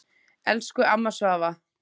Elsku amma Svava.